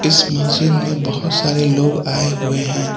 इस मस्जिद में बहोत सारे लोग आए हुए हैं।